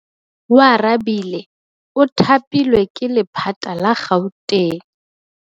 Oarabile o thapilwe ke lephata la Gauteng.